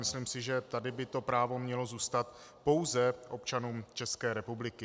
Myslím si, že tady by to právo mělo zůstat pouze občanům České republiky.